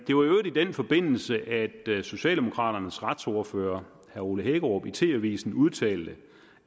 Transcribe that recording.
øvrigt i den forbindelse at socialdemokraternes retsordfører herre ole hækkerup i tv avisen udtalte